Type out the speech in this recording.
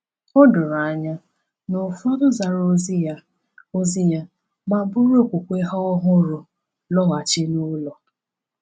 O doro anya na ụfọdụ zara ozi ya ozi ya ma buru okwukwe ha ọhụrụ lọghachi n’ụlọ.